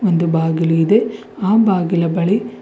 ಒಂದು ಬಾಗಿಲು ಇದೆ ಆ ಬಾಗಿಲ ಬಳಿ--